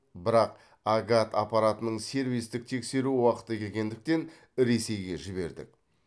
бірақ агат аппаратының сервистік тексеру уақыты келгендіктен ресейге жібердік